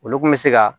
Olu kun bɛ se ka